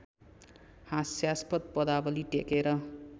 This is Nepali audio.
हास्यास्पद पदावली टेकेर